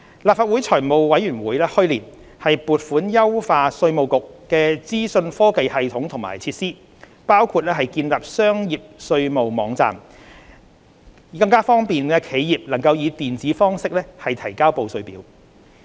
立法會財務委員會去年撥款優化稅務局的資訊科技系統和設施，包括建立商業稅務網站，以便企業以電子方式提交報稅表。